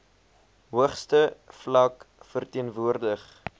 hoogste vlak verteenwoordig